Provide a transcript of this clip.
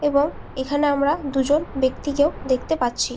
এবং এখানে আমরা দুজন ব্যক্তিকেও দেখতে পাচ্ছি।